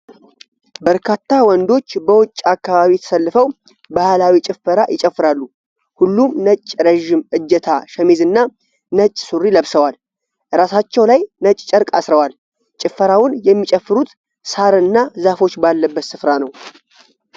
በርካታ ወንዶች በውጭ አካባቢ ተሰልፈው ባህላዊ ጭፈራ ይጨፍራሉ። ሁሉም ነጭ ረዥም እጀታ ሸሚዝና ነጭ ሱሪ ለብሰዋል። ራሳቸው ላይ ነጭ ጨርቅ አስረዋል። ጭፈራውን የሚጨፍሩት ሣር እና ዛፎች ባለበት ስፍራ ነው።